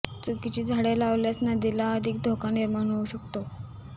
चुकीची झाडे लावल्यास नदीला अधिक धोका निर्माण होऊ शकतो